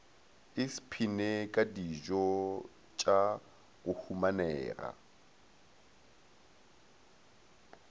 isphine ka dijotša go humanega